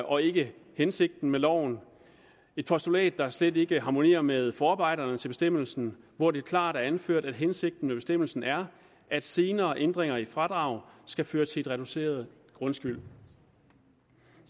og ikke hensigten med loven et postulat der slet ikke harmonerer med forarbejderne til bestemmelsen hvor det klart er anført at hensigten med bestemmelsen er at senere ændringer i fradrag skal føre til en reduceret grundskyld